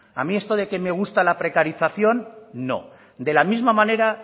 a mí esto de que me gusta la precarización no de la misma manera